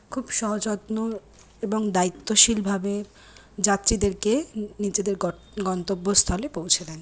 খুব সযত্ন এবং দায়িত্বশীল ভাবে যাত্রীদেরকেনিজেদের গ-গন্তব্যস্থলে পৌঁছে দেন।